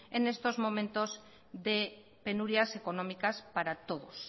en estos momentos de penurias económicas para todos